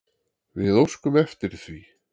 Við óskum eftir því.